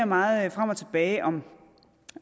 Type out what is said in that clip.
meget frem og tilbage om